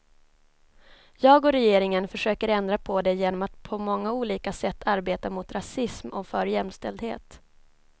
Jag och regeringen försöker ändra på det genom att på många olika sätt arbeta mot rasism och för jämställdhet.